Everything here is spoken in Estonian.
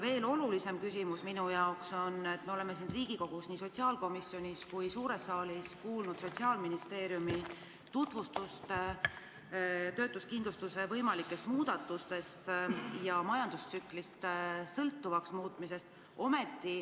Veel olulisem küsimus minu jaoks on, et me oleme siin Riigikogus nii sotsiaalkomisjonis kui ka suures saalis kuulnud Sotsiaalministeeriumi töötuskindlustuse võimalike muudatuste ja majandustsüklist sõltuvaks muutmise tutvustust.